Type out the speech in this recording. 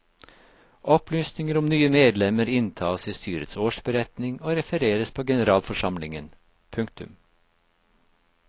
Opplysninger om nye medlemmer inntas i styrets årsberetning og refereres på generalforsamlingen. punktum